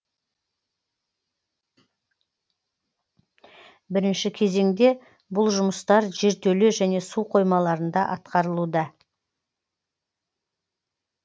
бірінші кезеңде бұл жұмыстар жертөле және су қоймаларында атқарылуда